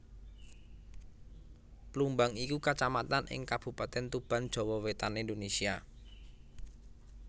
Plumbang iku Kacamatan ing Kabupatèn Tuban Jawa Wétan Indonésia